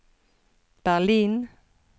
Berlin